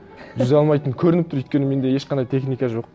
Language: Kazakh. жүзе алмайтыным көрініп тұр өйткені менде ешқандай техника жоқ